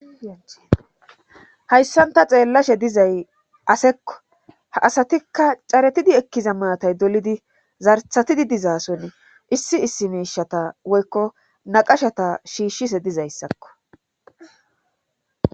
Hayssan ta xeellashe dizay asekko;ha asatikka caretidi ekkiza maatay dolidi zartatidi diza sohoni issi issi miishshata woykko naqashata shiishise dizayssakko.